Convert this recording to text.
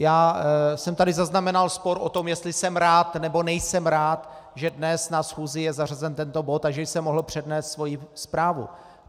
Já jsem tady zaznamenal spor o to, jestli jsem rád, nebo nejsem rád, že dnes na schůzi je zařazen tento bod a že jsem mohl přednést svoji zprávu.